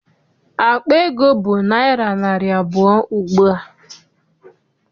Akpa ego bụ naịra narị abụọ ugbua.